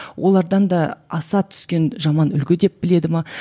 олардан да аса түскен жаман үлгі деп біледі ме